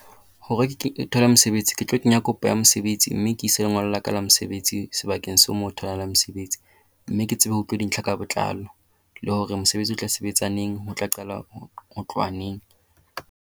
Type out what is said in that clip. Hore ke thole mosebetsi ke tlo kenya kopo ya mosebetsi, mme ke ise lengolo la ka la mesebetsi sebakeng seo moo ho tholahalang mosebetsi. Mme ke tsebe ho utlwa dintlha ka botlalo le hore mosebetsi o tla sebetsa neng. Ho tla qalwa ho tloha neng.